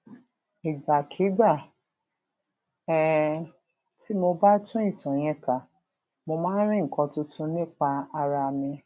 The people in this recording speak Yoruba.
ìgbàkigbà um tí mo bá tún ìtàn yẹn kà mo máa ń rí nǹkan tuntun nípa ara mi